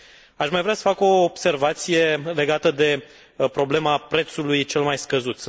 Aș mai vrea să fac o observație legată de problema prețului cel mai scăzut.